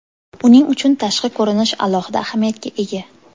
Uning uchun tashqi ko‘rinish alohida ahamiyatga ega.